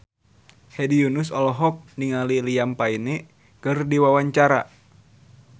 Hedi Yunus olohok ningali Liam Payne keur diwawancara